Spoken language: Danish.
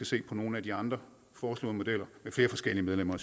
se på nogle af de andre foreslåede modeller med flere forskellige medlemmer